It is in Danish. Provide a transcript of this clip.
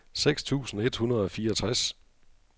seks tusind et hundrede og fireogtres